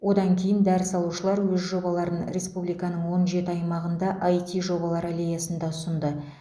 одан кейін дәріс алушылар өз жобаларын республиканың он жеті аймағында іт жобалар аллеясында ұсынды